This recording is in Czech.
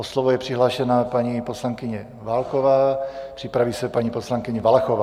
O slovo je přihlášena paní poslankyně Válková, připraví se paní poslankyně Valachová.